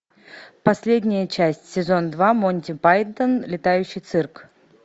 последняя часть сезон два монти пайтон летающий цирк